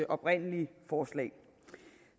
oprindelige forslag